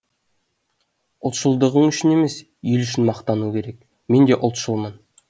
ұлтшылдығың үшін емес ел үшін мақтану керек мен де ұлтшылмын